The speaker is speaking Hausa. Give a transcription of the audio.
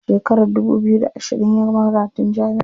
A shekarar dubu biyu da ashirin ya gama karatun jami'a.